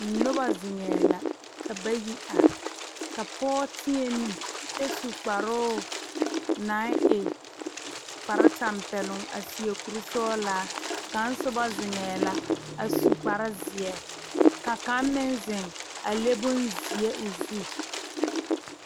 Noba zeŋɛɛ la ka bayi are ka pɔge teɛ nu kyɛ su kparoo naŋ e kparetɛmpɛloŋ a seɛ kurisɔglaa kaŋ soba zeŋɛɛ la a su kparezeɛ ka kaŋ meŋ zeŋ a le bonzeɛ o zu.